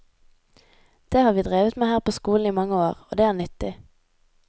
Det har vi drevet med her på skolen i mange år, og det er nyttig.